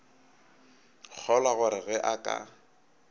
kgolwa gore ge a ka